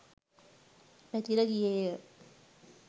පැතිර ගියේය